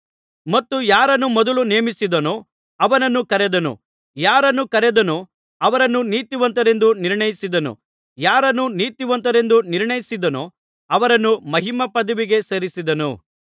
ಮತ್ತು ಯಾರನ್ನು ಮೊದಲು ನೇಮಿಸಿದನೋ ಅವರನ್ನು ಕರೆದನು ಯಾರನ್ನು ಕರೆದನೋ ಅವರನ್ನು ನೀತಿವಂತರೆಂದು ನಿರ್ಣಯಿಸಿದನು ಯಾರನ್ನು ನೀತಿವಂತರೆಂದು ನಿರ್ಣಯಿಸಿದನೋ ಅವರನ್ನು ಮಹಿಮಾಪದವಿಗೆ ಸೇರಿಸಿದನು